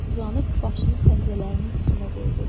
Uzandıb başını pəncələrin üstünə qoydu.